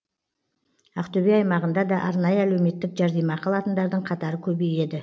ақтөбе аймағында да арнайы әлеуметтік жәрдемақы алатындардың қатары көбейеді